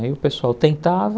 Aí o pessoal tentava.